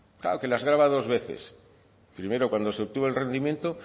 claro que las grava dos veces primero cuando se obtuvo el rendimiento